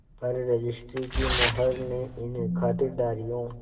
पर रजिस्ट्री की मोहर ने इन खातिरदारियों